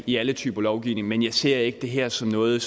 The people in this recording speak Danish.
i alle typer lovgivning men jeg ser ikke det her som noget